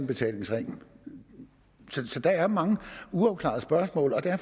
betalingsring der er mange uafklarede spørgsmål og det er